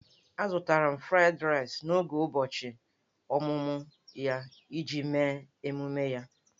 Azụtara m 'Fried Rice' n'oge ụbọchị ọmụmụ ya iji mee ememe ya.